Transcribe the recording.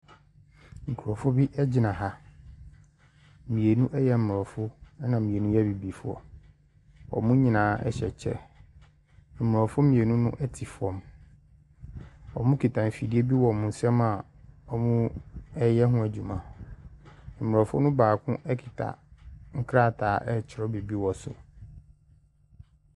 Nkurɔfoɔ bi gyina ha. Mmienu yɛ aborɔfo, ɛnna mmienu yɛ abibifoɔ. Wɔn nyinaa hyɛ kyɛ. Aborɔfo mmienu no te fam. Wɔkita afidie bi wɔ wɔn nsam a wɔreyɛ ho adwuma. Aborɔfo no baako kita nkrataa retwerɛ biribi wɔ so.